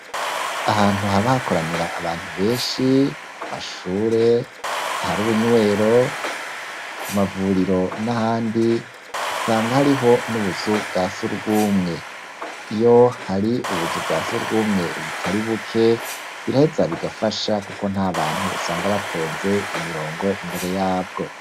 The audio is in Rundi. Ahantu, haba hakoranira abantu benshi, ku mashure, ahari ubunywero, ku mavuriro n'ahandi, usanga hariho n'ubuzu bwa surwumwe; iyo hari ubuzu bwa surwumwe butari buke, biraheza bigafasha, kuko nta bantu usanga batonze imirongo, imbere yabwo.